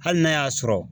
Hali n'a y'a sɔrɔ